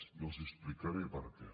i els explicaré per què